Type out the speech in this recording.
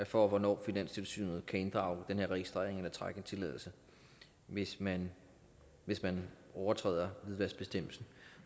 for hvornår finanstilsynet kan inddrage den her registrering eller trække en tilladelse hvis man hvis man overtræder hvidvaskbestemmelsen